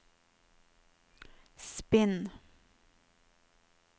spinn